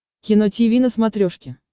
кино тиви на смотрешке